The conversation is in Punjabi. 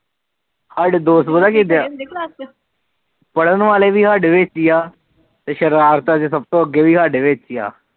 ਸਾਡੇ ਦੋਸਤ ਪਤਾ ਕਿਦਾ ਪੜਨ ਵਾਲੇ ਵੀ ਸਾਡੇ ਵਿੱਚ ਆ ਤੇ ਸ਼ਰਾਰਤਾ ਵਿੱਚ ਵੀ ਸਾਡੇ ਵਿੱਚ ਆ